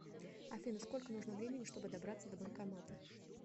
афина сколько нужно времени чтобы добраться до банкомата